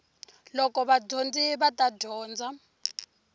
loko vadyondzi va ta dyondza